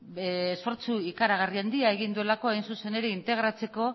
esfortzu ikaragarri handia egin duelako hain zuzen ere integratzeko